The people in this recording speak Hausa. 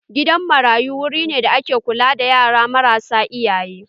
Gidan marayu wuri ne da ake kula da yara marasa iyaye.